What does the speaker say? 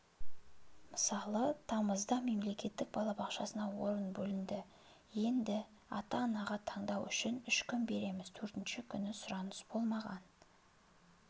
мысалы тамызда мемлекеттік балабақшасына орын бөлінді енді ата-анаға таңдауға үш күн береміз төртінші күні сұраныс болмаған